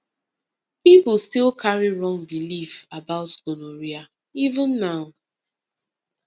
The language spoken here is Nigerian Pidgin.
people still carry wrong belief about gonorrhea even now